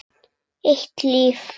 Eitt líf.